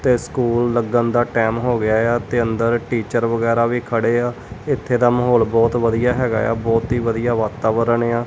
ਤੇ ਸਕੂਲ ਲੱਗਣ ਦਾ ਟੈਮ ਹੋ ਗਿਆ ਯਾ ਤੇ ਅੰਦਰ ਟੀਚਰ ਵਗੈਰਾ ਵੀ ਖੜੇ ਆ ਉੱਥੇ ਦਾ ਮਾਹੌਲ ਬੋਹੁਤ ਵਧੀਆ ਹੈਗਾ ਯਾ ਬੋਹੁਤ ਹੀ ਵਧੀਆ ਵਾਤਾਵਰਣ ਏ ਆ।